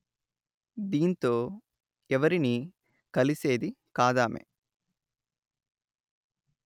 దీంతో ఎవరినీ కలిసేది కాదామె